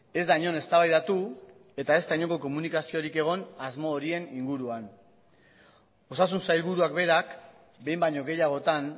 ez da inon eztabaidatu eta ez da inongo komunikaziorik egon asmo horien inguruan osasun sailburuak berak behin baino gehiagotan